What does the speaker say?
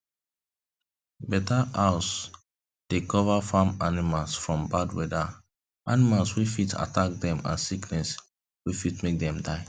better house dey cover farm animals from bad weather animals wey fit attack dem and sickness wey fit make dem die